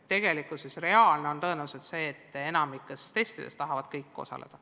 Tegelikkuses on reaalne tõenäoliselt see, et enamikus testides tahavad kõik osaleda.